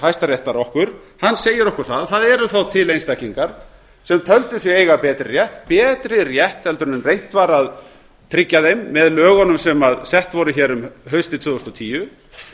hæstaréttar okkur hann segir okkur það að það eru þá til einstaklingar sem töldu sig eiga betri rétt en reynt var að tryggja þeim með lögunum sem sett voru hér haustið tvö þúsund og tíu